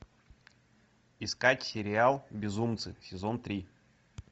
искать сериал безумцы сезон три